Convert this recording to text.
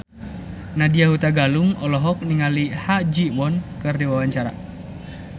Nadya Hutagalung olohok ningali Ha Ji Won keur diwawancara